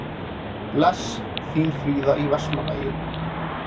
Bless, þín Fríða í Vestmannaeyjum